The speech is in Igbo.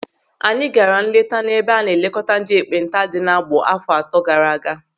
Anyị gaara nleta n'ebe a na-elekọta ndị ekpenta dị n'Agbọ àfọ atọ gaara aga.